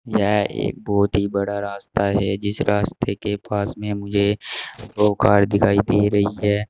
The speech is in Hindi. यह एक बहोत ही बड़ा रास्ता है जिस रास्ते के पास में मुझे दो कार दिखाई दे रही है।